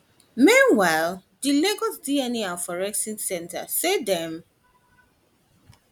meanwhile di lagos dna and forensic center forensic center say dem